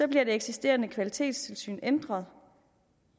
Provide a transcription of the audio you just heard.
bliver det eksisterende kvalitetstilsyn ændret